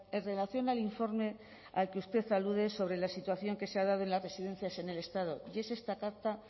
en relación al informe al que usted alude sobre la situación que se ha dado en las residencias en el estado y es esta carta